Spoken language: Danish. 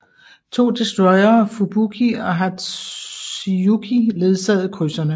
To destroyere Fubuki og Hatsuyuki ledsagede krydserne